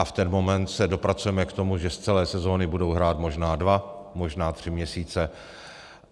A v ten moment se dopracujeme k tomu, že z celé sezóny budou hrát možná dva, možná tři měsíce.